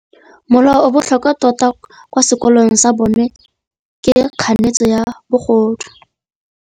Molao o o botlhokwa tota kwa sekolong sa bone ke kganetsô ya bogodu.